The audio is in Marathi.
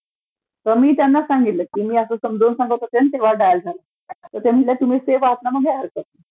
तर मी त्यांना सांगितलं की मी असं समजावून सांगत होते तर तेव्हा डायल झालाय, ते म्हणाले तुम्ही सेफ आहात मग काही हरकत नाही.